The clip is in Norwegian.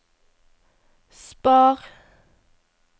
spar